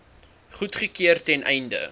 goedgekeur ten einde